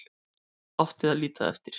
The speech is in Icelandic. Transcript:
Átti að líta eftir